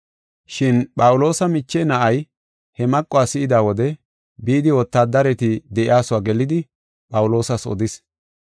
Shin Phawuloosa miche na7ay he maquwa si7ida wode, bidi wotaadareti de7iyasuwa gelidi, Phawuloosas odis.